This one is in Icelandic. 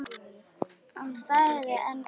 Hann þagði enn góða stund.